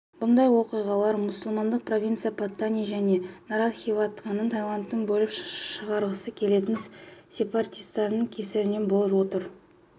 бұндай оқиғалар мұсылмандық провинция паттани және наратхиватаны тайландтан бөліп шығарғысы келетін сепаратистердің кесірінен болып отыр